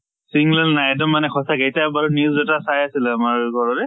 sing nail নাই এইটো মানে সঁচাকৈ এতিয়া বাৰু news এটা চাই আছিলো আমাৰ ঘৰৰে